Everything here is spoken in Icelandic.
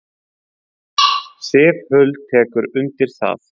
Sif Huld tekur undir það.